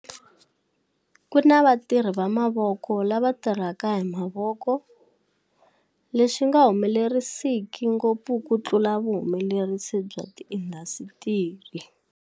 Kuna vatirhi va mavoko lava tirhaka hi mavoko, leswinga humelerisiki ngopfu kutlula vuhumelerisi bya ti indasitiri.